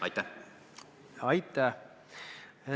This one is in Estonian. Aitäh!